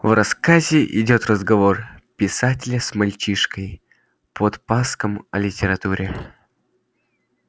в рассказе идёт разговор писателя с мальчишкой-подпаском о литературе